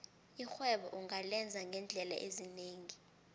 irhwebo ungalenza ngeendlela ezinengi